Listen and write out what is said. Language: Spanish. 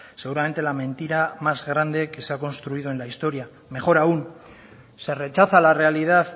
seguramente la mentira más grande que se ha construido en la historia mejor aún se rechaza la realidad